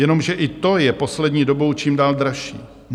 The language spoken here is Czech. Jenomže i to je poslední dobou čím dál dražší.